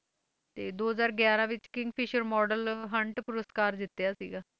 ਤੇ ਦੋ ਹਜ਼ਾਰ ਗਿਆਰਾਂ ਵਿੱਚ ਕਿੰਗ ਫਿਸ਼ਰ model hunt ਪੁਰਸਕਾਰ ਜਿੱਤਿਆ ਸੀਗਾ,